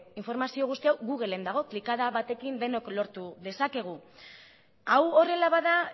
informazio guzti hau google en dago klikada batekin denok lortu dezakegu hau horrela bada